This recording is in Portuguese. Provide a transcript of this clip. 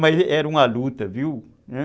Mas era uma luta, viu?